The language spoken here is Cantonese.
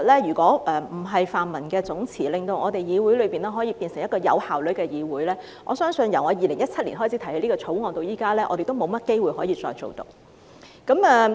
如果不是泛民總辭，令議會可以變成一個有效率的議會，我相信由我2017年開始提出這項條例草案至今，我們也沒有甚麼機會可以處理得到。